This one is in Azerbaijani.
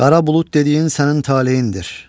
Qara bulud dediyin sənin talehindir.